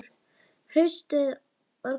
Haustið var komið.